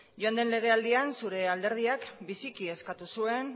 joan den legealdian zure alderdiak biziki eskatu zuen